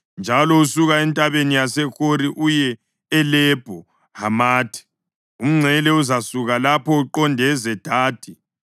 njalo usuka eNtabeni yaseHori uye eLebho Hamathi. Umngcele uzasuka lapho uqonde eZedadi,